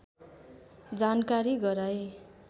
जानकारी गराए